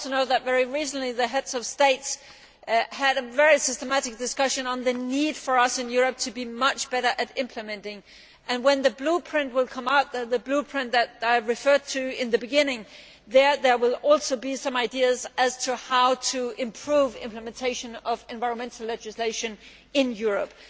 I also know that very recently the Heads of State had a very systematic discussion on the need for us in Europe to be much better at implementing and, when the Blueprint that I referred to at the beginning comes out, there will also be some ideas on how to improve implementation of environmental legislation in Europe.